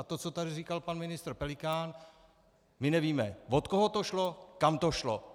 A to, co tady říkal pan ministr Pelikán - my nevíme, od koho to šlo, kam to šlo.